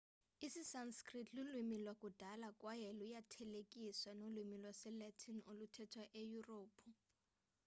isisanskrit lulwimi lwakudala kwaye luyathelekiseka nolwimi lwesilatin oluthethwa eyurophu